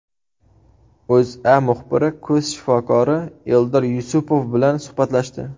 O‘zA muxbiri ko‘z shifokori Eldor Yusupov bilan suhbatlashdi .